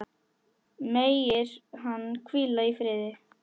Megir hann hvíla í friði.